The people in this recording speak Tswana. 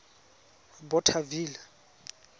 bothaville